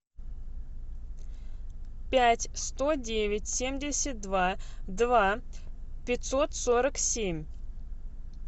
пять сто девять семьдесят два два пятьсот сорок семь